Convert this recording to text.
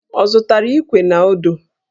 Ọ zụtara Íkwè na ọ́dụ́?